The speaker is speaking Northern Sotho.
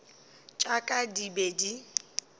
tša ka di be di